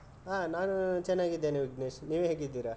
ಹ ನಾನು ಚೆನ್ನಾಗಿದ್ದೇನೆ ವಿಜ್ಞೇಶ್ ನೀವು ಹೇಗಿದ್ದೀರ?